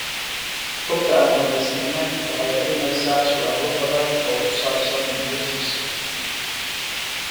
Xogta aan dhamaystirnayn waxay dhalinaysaa su'aalo badan oo ku saabsan noloshiisa.